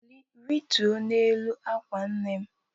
Rituo n'elu ákwà nne m